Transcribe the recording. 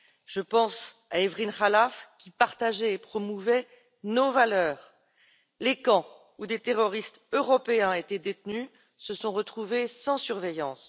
Je pense à Hevrin Khalaf qui partageait et promouvait nos valeurs. Les camps, où des terroristes européens étaient détenus, se sont retrouvés sans surveillance.